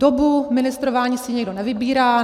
Dobu ministrování si nikdo nevybírá.